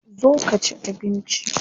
Zo ka ci abinci.